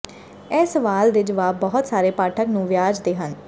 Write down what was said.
ਇਹ ਸਵਾਲ ਦੇ ਜਵਾਬ ਬਹੁਤ ਸਾਰੇ ਪਾਠਕ ਨੂੰ ਵਿਆਜ ਦੇ ਹਨ